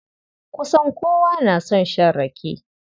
Kusan kowa na son shan rake.